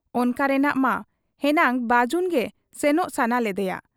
ᱚᱱᱠᱟ ᱨᱮᱱᱟᱜ ᱢᱟ ᱦᱮᱱᱟᱝ ᱵᱟᱹᱡᱩᱱᱜᱮ ᱥᱮᱱᱚᱜ ᱥᱟᱱᱟ ᱞᱮᱫᱮᱭᱟ ᱾